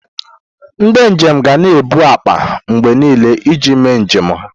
Ndị njem ga na-ebu akpa mgbe niile iji mee njem ha.